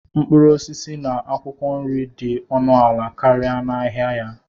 mkpụrụ osisi na akwụkwọ nri dị ọnụ ala karịa n'ahịa ya.